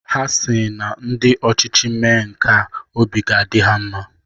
Ha sịrị na ndị ọchịchị mee nka, obi ga-adị ha mma.